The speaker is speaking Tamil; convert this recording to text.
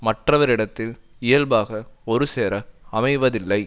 மற்றவரிடத்தில் இயல்பாக ஒருசேர அமைவதில்லை